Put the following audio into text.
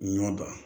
Ɲɔ dan